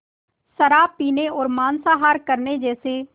शराब पीने और मांसाहार करने जैसे